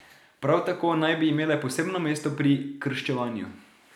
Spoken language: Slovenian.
Prav tako naj bi imele posebno mesto pri krščevanju.